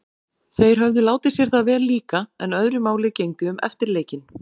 Þeir höfðu látið sér það vel líka- en öðru máli gegndi um eftirleikinn.